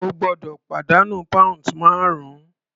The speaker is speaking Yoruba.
O gbọ́dọ̀ pàdánù pounds márùn-ún.